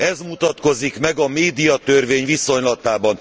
Ez mutatkozik meg a médiatörvény viszonylatában.